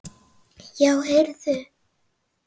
Já, heyrðu.